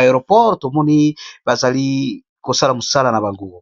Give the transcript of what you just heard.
aeroport tomoni bazali kosala mosala na bango.